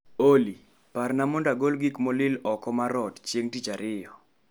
Olly, parna mondo agol gik molil oko mar ot chieng' tich ariyo.